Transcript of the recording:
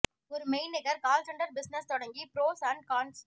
ஒரு மெய்நிகர் call centre business தொடங்கி ப்ரோஸ் அண்ட் கான்ஸ்